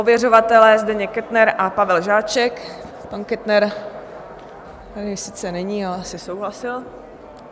Ověřovatelé Zdeněk Kettner a Pavel Žáček, pan Kettner tady sice není, ale asi souhlasil.